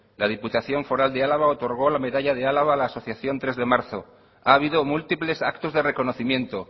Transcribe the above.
la diputación foral de álava otorgó la medalla de álava a la asociación tres de marzo ha habido múltiples actos de reconocimiento